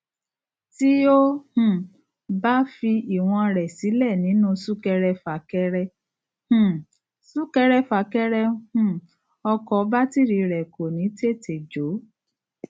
tí o um bá fi ìwọn rẹ sílẹ nínú súkẹrẹfàkẹrẹ um súkẹrẹfàkẹrẹ um ọkọ bátìrì rẹ kò ní tètè jó